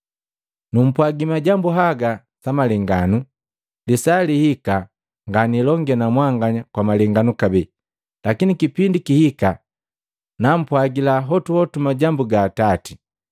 “Numpwagi majambu haga sa malenganu, lisaa lihika nganilonge na mwanganya kwa malenganu kabee, lakini kipindi kihika nampwagila hotuhotu majambu ga Atati.